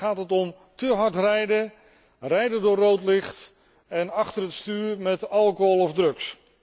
En dan gaat het om te hard rijden, rijden door rood licht, en achter het stuur met alcohol of drugs.